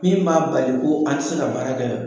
Min b'a bali ko an tɛ se ka baara kɛ